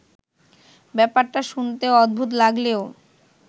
ব্যাপারটা শুনতে অদ্ভুত লাগলেও